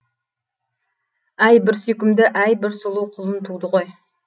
әй бір сүйкімді әй бір сұлу құлын туды ғой